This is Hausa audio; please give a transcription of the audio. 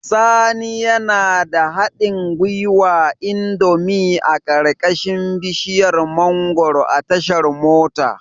Sani yana da haɗin gwiwar indomie a ƙarƙashin bishiyar mangwaro a tashar mota